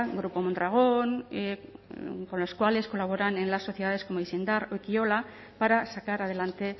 grupo mondragón con los cuales colaboran en las sociedades como o ekiola para sacar adelante